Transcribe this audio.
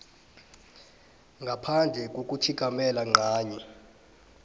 ngaphandle kokutjhigamela ncanye